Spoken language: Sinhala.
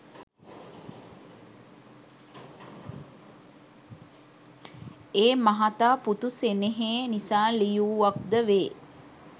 ඒ මහතා පුතු සෙනෙහේ නිසා ලියූවක්ද වේ